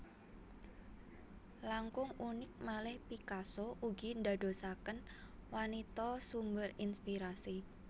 Langkung unik malih Picasso ugi ndadosaken wanita sumber inspirasi